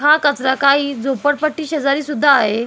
हा कचरा काही झोपडपट्टी शेजारी सुद्धा आहे.